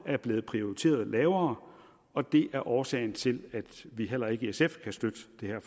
er blevet prioriteret lavere og det er årsagen til at vi heller ikke i sf kan støtte